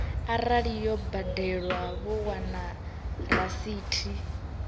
arali yo badelwa vho wana rasithi